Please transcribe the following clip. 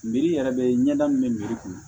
yɛrɛ bɛ ɲɛda min mɛ kɔnɔ